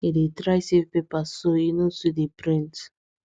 he dey try save paper so e no too dey print